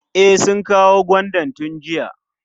E, sun kawo gwandan tun jiya.